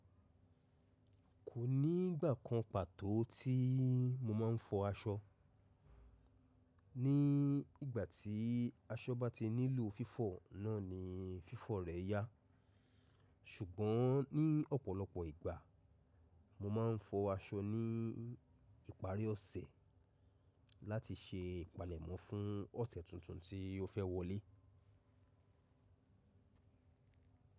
Kò ní ìgbà kan pàtó tí mo máa ń fọ aṣọ. Ní ìgbà tí aṣọ bá ti nílò fífọ̀ náà ni fífọ̀ rẹ̀ yá. Ṣùgbọ́n ní ọ̀pọ̀lọpọ̀ ìgbà, mo máa ń fọ aṣọ ní ìparí ọ̀sẹ̀ láti ṣe ìpalẹ̀mọ́ fún ọ̀sẹ̀ tuntun tí ó fẹ́ wọlé.